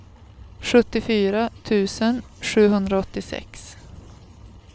sjuttiofyra tusen sjuhundraåttiosex